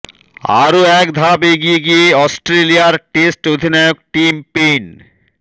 আরও এক ধাপ এগিয়ে গিয়ে অস্ট্রেলিয়ার টেস্ট অধিনায়ক টিম পেইন